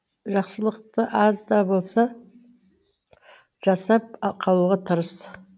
жақсылықты аз да болса жасап ақалуға тырыс